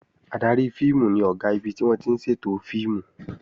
Adarí fíìmù ni Ọ̀gá ibi tí wọ́n ti ń ṣètò fíìmù